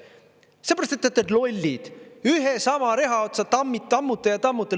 Sellepärast, et te olete lollid, ühe ja sama reha otsa tammute ja tammute.